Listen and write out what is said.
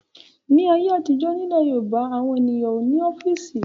Ní ayé àtijọ́, nílẹ̀ Yorùbá àwọn ènìyàn ò ní ọ́fíísì.